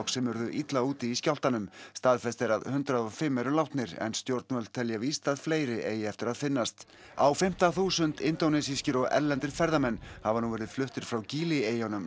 sem urðu illa úti í skjálftanum staðfest er að hundrað og fimm eru látnir en stjórnvöld telja víst að fleiri eigi eftir að finnast á fimmta þúsund indónesískir og erlendir ferðamenn hafa nú verið fluttir frá gili eyjunum